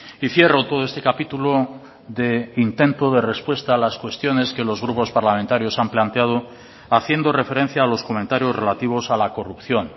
y cierro todo este capítulo de intento de respuesta a las cuestiones que los grupos parlamentarios han planteado haciendo referencia a los comentarios relativos a la corrupción